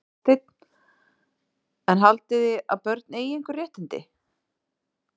Hafsteinn: En haldið þið að börn eigi einhver réttindi?